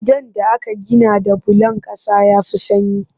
Gidan da aka gina da bulon ƙasa ya fi sanyi